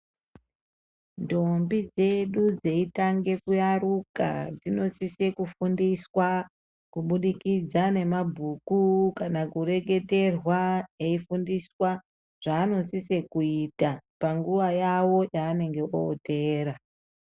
Ndombi dzedu dzeitange kuyaruka dzinosisa kufundiswa kubudi kidzwa nemabhuku kana kureketerwa eyifundiswa zvaaanosiso kuita panguva yavo yavanenge veyitera.